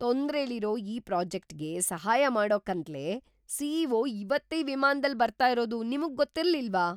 ತೊಂದ್ರೆಲಿರೋ ಈ ಪ್ರಾಜೆಕ್ಟ್‌ಗೆ ಸಹಾಯ ಮಾಡೋಕ್ಕಂತ್ಲೇ ಸಿ.ಇ.ಒ. ಇವತ್ತೇ ವಿಮಾನ್ದಲ್ಲ್ ಬರ್ತಾ ಇರೋದು ನಿಮ್ಗ್ ಗೊತ್ತಿರ್ಲಿಲ್ವಾ?!